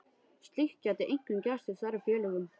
Slíkt gæti einkum gerst í stærri félögum.